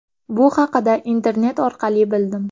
Bu haqida internet orqali bildim.